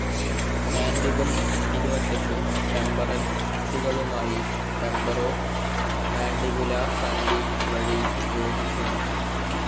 Mandible ഇരുവശത്തെയും temporal അസ്ഥികളുമായി temporomandibular സന്ധി വഴി യോജിക്കുന്നു.